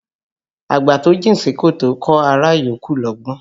Àgbà tó jìn sí kòtò kọ́ ará yòókù lọ́gbọ́n